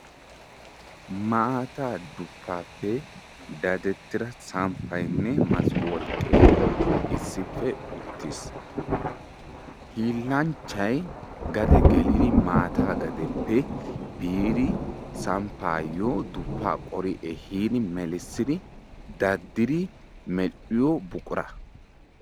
maataa duppaappe dadetida samppaynne masoopee issippe utiis. hiilanchay maata gadeppe maataa ehiidi medhiyo buqura.